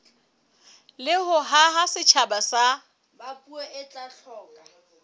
le ho haha setjhaba sa